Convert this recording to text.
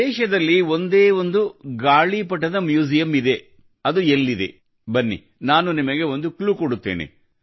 ದೇಶದಲ್ಲಿ ಒಂದೇ ಒಂದು ಗಾಳಿಪಟ ಮ್ಯೂಸಿಯಮ್ ಇದೆ ಅದು ಎಲ್ಲಿದೆ ಬನ್ನಿ ನಾನು ನಿಮಗೆ ಒಂದು ಕ್ಲೂ ಕೊಡುತ್ತೇನೆ